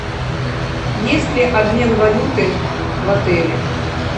есть ли обмен валюты в отеле